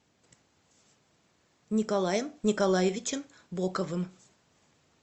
николаем николаевичем боковым